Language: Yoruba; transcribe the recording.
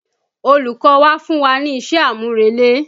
Olùkọ́ wa fún wa ní iṣẹ́-àmúrelé